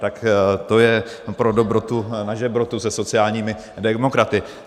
Tak to je pro dobrotu na žebrotu se sociálními demokraty.